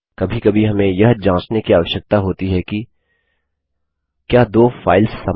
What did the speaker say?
कभी कभी हमें यह जाँचने की आवश्यकता होती है कि क्या दो फाइल्स समान हैं